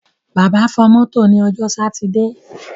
Bàbá fọ mọ́tò ní ọjọ́ sátidé.